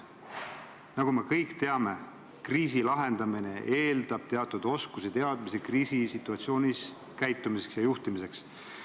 Nagu me kõik teame, kriisi lahendamine eeldab teatud oskusi-teadmisi kriisisituatsioonis käitumiseks ja selle juhtimiseks.